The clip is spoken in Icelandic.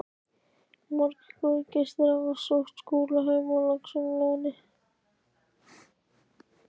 Margir góðir gestir hafa sótt Skúla heim á Laxalóni.